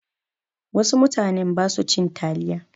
Wasu mutanen ba su cin taliya.